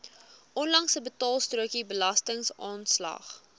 onlangse betaalstrokie belastingaanslag